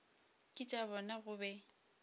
ke tša bona go be